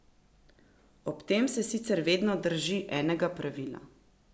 Ob tem se sicer vedno drži enega pravila.